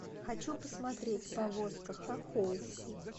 хочу посмотреть повозка хохол